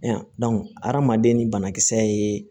adamaden ni banakisɛ ye